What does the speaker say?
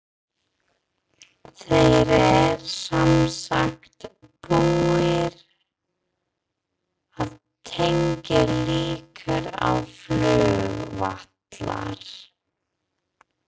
Þeir eru semsagt búnir að tengja líkið á flugvallar